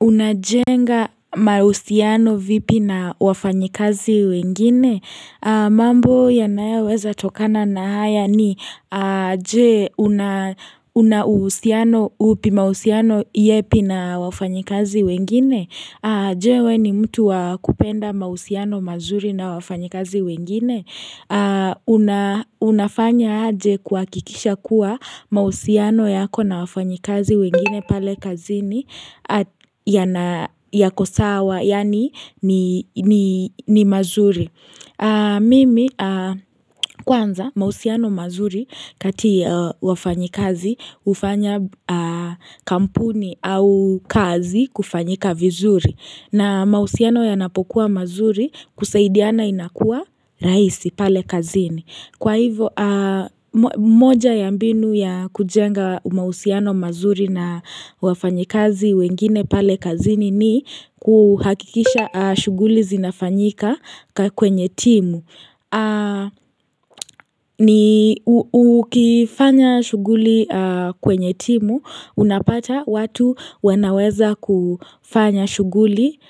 Unajenga mausiano vipi na wafanyikazi wengine? Mambo yanayoweza tokana na haya ni jee unausiano upi mausiano iepi na wafanyikazi wengine? Jewe ni mtu wakupenda mausiano mazuri na wafanyikazi wengine Unafanya aje kwakikisha kuwa mausiano yako na wafanyikazi wengine pale kazini yako sawa yani ni mazuri Mimi kwanza mausiano mazuri katia wafanyikazi ufanya kampuni au kazi kufanyika vizuri na mausiano yanapokuwa mazuri kusaidiana inakua raisi pale kazini Kwa hivo moja ya mbinu ya kujenga mausiano mazuri na wafanyikazi wengine pale kazini ni kuhakikisha shuguli zinafanyika kwenye timu ni ukifanya shuguli kwenye timu unapata watu wanaweza kufanya shuguli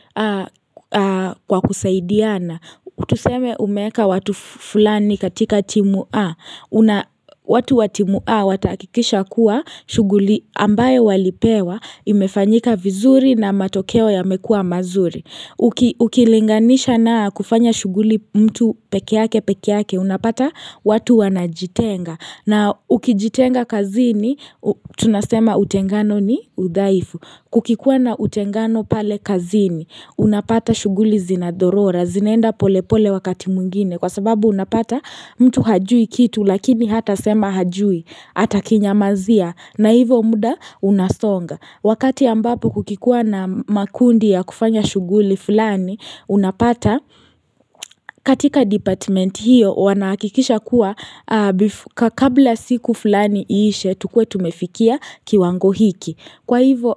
kwa kusaidiana Kutuseme umeka watu fulani katika timu A watu watimu A watakikisha kuwa shuguli ambaye walipewa imefanyika vizuri na matokeo yamekua mazuri Ukilinganisha na kufanya shuguli mtu peke yake peke yake unapata watu wanajitenga na ukijitenga kazini tunasema utengano ni udhaifu Kukikuwa na utengano pale kazini unapata shuguli zinadorora zinenda pole pole wakati muingine Kwa sababu unapata mtu hajui kitu lakini hata sema hajui hata kinyamazia na hivo muda unasonga Wakati ambapo kukikua na makundi ya kufanya shuguli fulani unapata katika department hiyo wanakikisha kuwa kabla siku fulani iishe tukue tumefikia kiwango hiki Kwa hivo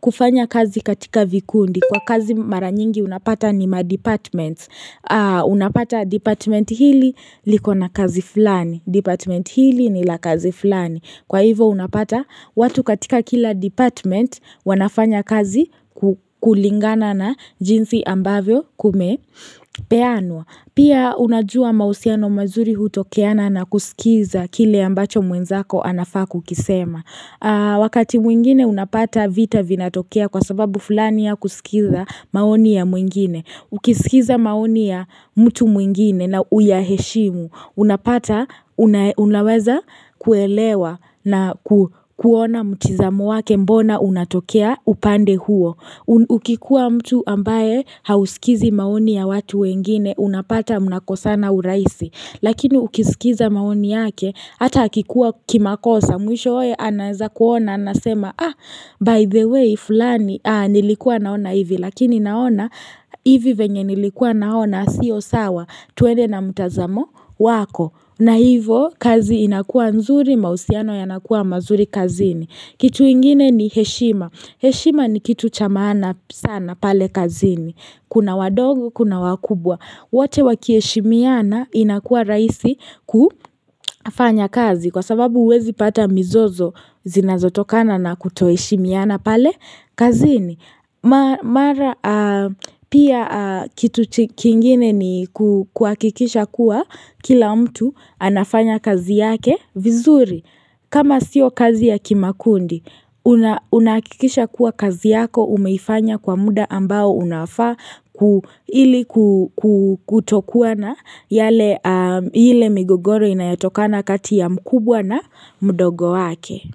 kufanya kazi katika vikundi kwa kazi mara nyingi unapata ni madepartment Unapata department hili likona kazi fulani department hili nila kazi fulani Kwa hivo unapata watu katika kila department wanafanya kazi kulingana na jinsi ambavyo kumepeanwa. Pia unajua mausiano mazuri hutokeana na kusikiza kile ambacho mwenzako anafa kukisema. Wakati mwingine unapata vita vinatokea kwa sababu fulani ya kusikiza maoni ya mwengine Ukisikiza maoni ya mtu mwengine na uyaheshimu Unapata unaweza kuelewa na kuona mtizamo wake mbona unatokea upande huo Ukikuwa mtu ambaye hausikizi maoni ya watu wengine unapata mnakosana uraisi Lakini ukisikiza maoni yake, hata hakikua kimakosa, mwisho oe ananza kuona, anasema, ah, by the way, fulani, ah, nilikuwa naona hivi, lakini naona hivi venye nilikuwa naona, siyo sawa, tuwede na mtazamo, wako, na hivo, kazi inakua nzuri, mausiano yanakua mazuri kazini. Kitu ingine ni heshima. Heshima ni kitu chamana sana pale kazini. Kuna wadogo, kuna wakubwa. Wote wakieshimiana inakua raisi kufanya kazi. Kwa sababu uwezi pata mizozo zinazotokana na kuto heshimiana pale kazini. Mara pia kitu kingine ni kuakikisha kuwa kila mtu anafanya kazi yake vizuri kama sio kazi ya kimakundi Unaakikisha kuwa kazi yako umeifanya kwa muda ambao unafa Kuhili kutokuwa na yale migogoro inayatoka na kati ya mkubwa na mdogo wake.